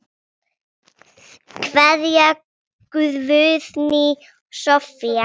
Kveðja, Guðný Soffía.